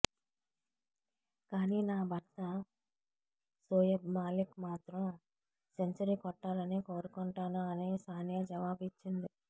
కానీ నా భర్త షోయబ్ మాలిక్ మాత్రం సెంచరీ కొట్టాలని కోరుకొంటాను అని సానియా జవాబు ఇచ్చింది